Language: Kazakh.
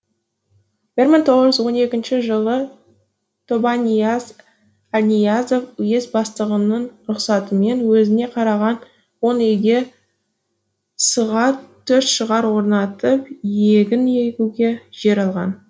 бір мың тоғыз жүз он екінші жылы тобанияз әлниязов уезд бастығының рұқсатымен өзіне қараған он үйге с ға төрт шығыр орнатып егін егуге жер алған